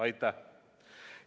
Aitäh!